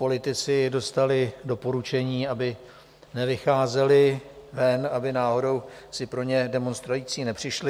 Politici dostali doporučení, aby nevycházeli ven, aby náhodou si pro ně demonstrující nepřišli.